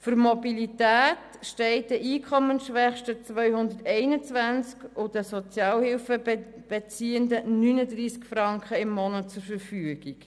Für Mobilität stehen den Einkommensschwächsten 221 Franken und den Sozialhilfebeziehenden 39 Franken im Monat zur Verfügung.